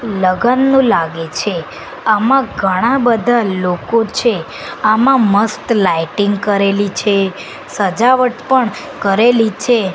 લગનનું લાગે છે આમાં ઘણા બધા લોકો છે આમાં મસ્ત લાઇટિંગ કરેલી છે સજાવટ પણ કરેલી છે.